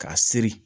K'a siri